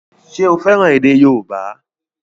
Ṣé o fẹ́ràn èdè yóòbá?